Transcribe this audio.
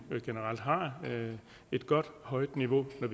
vi generelt har et godt højt niveau når